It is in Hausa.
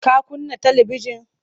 Ka kunna talibijin?